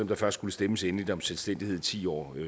der først skulle stemmes endeligt om selvstændighed ti år